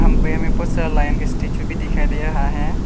हमको यहां में बहुत सारा लायन के स्टैचू भी दिखाई दे रहा है।